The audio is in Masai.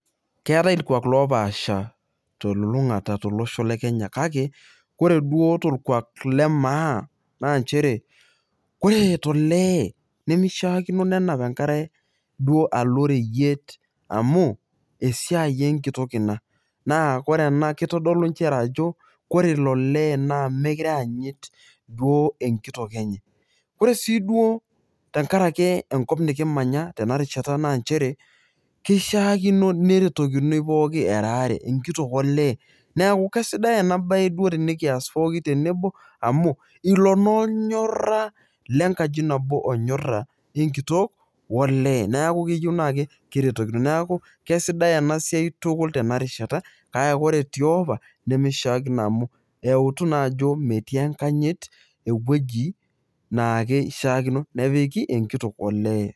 keetae ikuuaki oopaasha te lulung'ata te oosho le Kenya kake, ore duo tolkuaak le maa. naa nchere kore to lee, nemeishiaakino nenap enkare duo alo oreyiet. amu esiai enkitok ina. naa ore ena keitodolu inchere ajo kore ilo lee naa mookure eyanyit duo enkitok enye. ore sii duo tenkaraki enkop nikimanya tena rishata naa nchere keishiaakino neretokinoi pookin era aare enkitok oo lee neaku kesidai ena bae duo tenikias pookin tenebo amuu iloo naa olnyora le nkaji nabo onyora le nkitok oo lee neaku keyieu naa keretokinoi neaku kesidai ena siai tukul tena rishata kake kore tiopa nemeshiakino amuu eutu naa ajo metii enkanyit ewueji naishiaakino nepik enkitok olee.